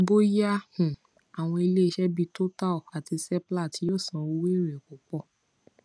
bóyá um àwọn ileise bí total àti seplat yóò san owo ere pupo